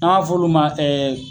N' an b'a f'olu ma